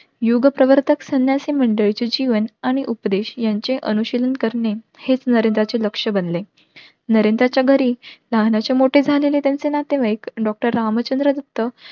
युग प्रवर्तक संन्यासी मंडळींचे जीवन आणि उपदेश यांची अनुशीलन करणे हेच नरेंद्रचे लक्ष बनले नरेंद्राच्या घरी लहानाचे मोठे झालेले त्यांचे नातेवाईक doctor रामचंद्र दत्त